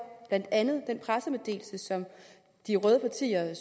blandt andet den pressemeddelelse som de røde partier det